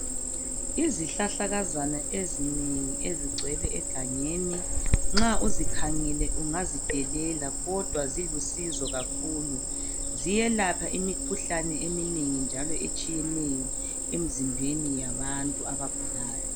Izihlahlakazana ezinengi ezigcwele egangeni nxa uzikhangele ungazidelela kodwa zilusizo kakhulu. Ziyelapha imikhuhlane eminengi njalo etshiyeneyo emzimbeni yabantu abagulayo.